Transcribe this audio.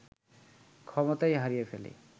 ক্ষমতাই হারিয়ে ফেলে